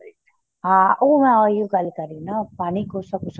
ਹਾਂ ਉਹ ਮੈਂ ਉਹੀ ਹੋ ਗੱਲ ਕਰ ਰਹੀ ਉਹ ਪਾਣੀ ਜਿਹੜਾ ਕੋਸਾਂ ਕੋਸਾਂ